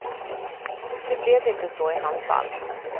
Nu blev det inte så i hans fall.